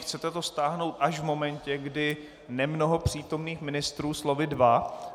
Chcete to stáhnout až v momentě, kdy nemnoho přítomných ministrů, slovy dva...